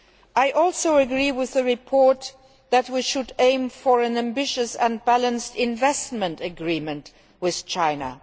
I also agree with the report that we should aim for an ambitious and balanced investment agreement with China.